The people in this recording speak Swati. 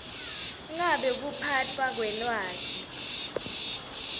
ngabe kuphatfwa kwelwati